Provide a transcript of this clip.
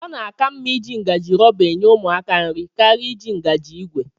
Ọ na-aka mma iji ngajị rọba enye ụmụaka nri karịa iji ngaji ìgwè